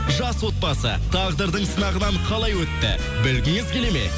жас отбасы тағдырдың сынағынан қайла өтті білгіңіз келеді ме